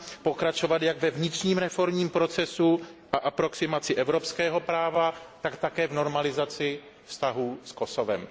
pokračovat jak ve vnitřním reformním procesu a aproximaci evropského práva, tak také v normalizaci vztahů s Kosovem.